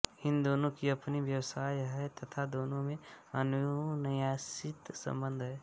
इन दोनों की अपनी व्यवस्था है तथा दोनों में अन्योन्याश्रित संबंध है